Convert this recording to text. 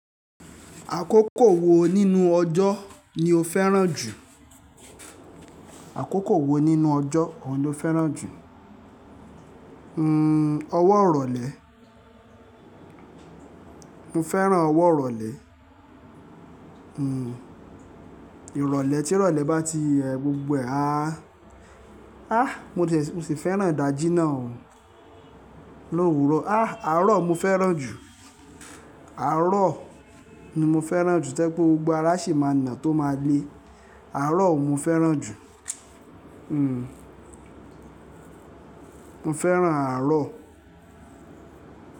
Àkókò wo nínú ọjọ́ ni o fẹ́ràn jù? Àkókò wo nínú ọjọ́ òún ló fẹ́ràn jù? N, ọwọ́ ìrọ̀lẹ́. Mo fẹ́ràn ọwọ́ ìrọ̀lẹ́. N, ìrọ̀lẹ́, tí ìrọ̀lẹ́ bá ti ẹ̀ gbogbo ẹ à, á, mo sì fẹ́ràn ìdajì náà lówúrọ̀. Á, àárọ̀ mo fẹ́ràn jù. Àárọ̀ ni mo fẹ́ràn jù. Tẹ́ pé gbogbo ara sì máa na, tó máa lé. Àárọ̀ mo fẹ́ràn jù. N, mo fẹ́ràn àárọ̀